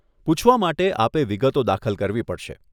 પૂછવા માટે આપે વિગતો દાખલ કરવી પડશે.